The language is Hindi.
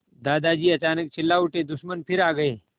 दादाजी अचानक चिल्ला उठे दुश्मन फिर आ गए